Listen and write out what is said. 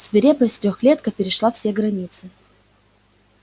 свирепость трёхлетка перешла все границы